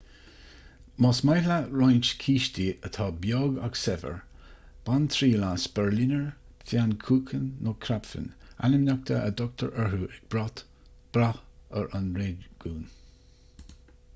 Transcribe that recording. más maith leat roinnt cístí atá beag ach saibhir bain triail as berliner pfannkuchen nó krapfen ainmneacha a dtugtar orthu ag brath ar an réigiún